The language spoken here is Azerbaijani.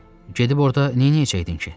Gedib orda neyləyəcəkdin ki?